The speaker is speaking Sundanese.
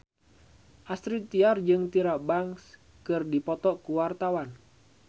Astrid Tiar jeung Tyra Banks keur dipoto ku wartawan